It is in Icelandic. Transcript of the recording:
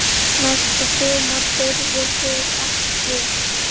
Næsta sumar þurfið þið ekki.